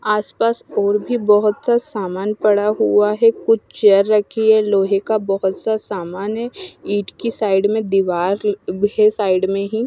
आसपास और भी बहुत सा सामान पड़ा हुआ है कुछ चेयर रखी है लोहे का बहुत सा सामान है ईंट की साइड में दीवार है साइड में ही--